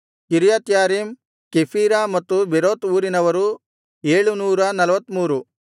ಕಿರ್ಯತ್ಯಾರೀಮ್ Chephirah ಮತ್ತು Beeroth ಊರಿನವರು 743